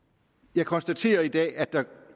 jeg konstaterer i dag at der